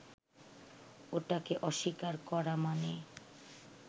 ওটাকে অস্বীকার করা মানে